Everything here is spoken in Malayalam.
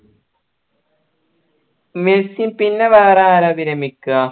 മെസ്സി പിന്നെ വേറെ ആരാ വിരമിക്ക